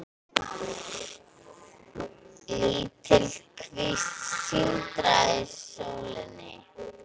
Lítil kvísl sindraði í sólinni.